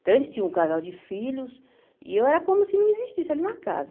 Então, eles tinham um casal de filhos e eu era como se não existisse ali na casa.